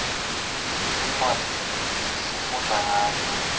tincwadzi sifundza ngato